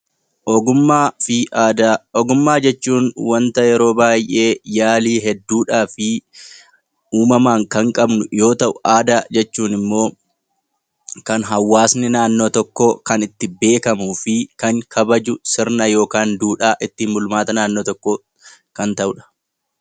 Ogummaa jechuun wanta yeroo baay'ee yaalii hedduudhaa fi uumamaan kan qabnu yoo ta'u , aadaa jechuun immoo kan hawaasni naannoo tokkoo ittiin beekamuu fi kan kabaju sirna yookaan duudhaa ittiin bulmaata naannoo tokkooti.